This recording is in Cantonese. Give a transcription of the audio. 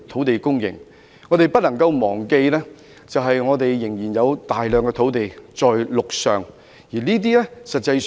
然而，我們不能夠忘記的是，我們仍有大量陸上土地。